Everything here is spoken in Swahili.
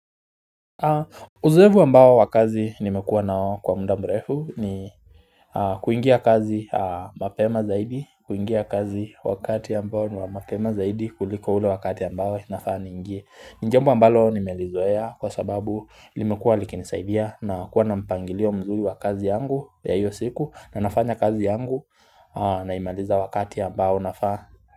Uzoevu ambao wakazi nimekuwa nao kwa muda mrefu ni kuingia kazi mapema zaidi, kuingia kazi wakati ambao ni wa mapema zaidi kuliko ule wakati ambao nafaa niingie. Jambo ambalo nimelizoeya kwa sababu limekuwa likinisaidia na kuwa na mpangilio mzuri wakazi yangu ya iyo siku na nafanya kazi yangu na imaliza wakati ambao nafaa.